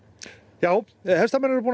já hestamenn eru búnir að